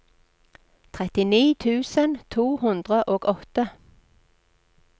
trettini tusen to hundre og åtte